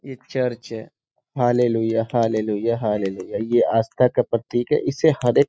एक चर्च है। Hallelujah hallelujah hallelujah. ये आस्था का प्रतिक है। इसे हरे --